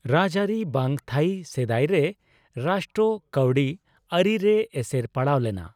ᱨᱟᱡᱽᱟᱹᱨᱤ ᱵᱟᱝ ᱛᱷᱟᱭᱤ ᱥᱮᱫᱟᱭᱨᱮ ᱨᱟᱥᱴᱚ ᱠᱟᱹᱣᱰᱤ ᱟᱹᱨᱤ ᱨᱮ ᱮᱥᱮᱨ ᱯᱟᱲᱟᱣ ᱞᱮᱱᱟ ᱾